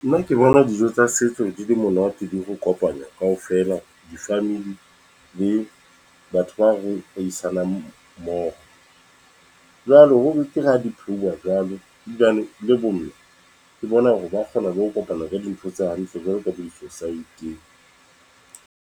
Nna ke bona dijo tsa setso di le monate, di ho kopanya kaofela , di-Family le batho ba re a isanang mooho. Jwalo ho betere ha di pheuwa jwalo hobane ebilane le bo mme, ke bona hore ba kgona le ho kopana ka dintho tse hantle jwalo ka di-society.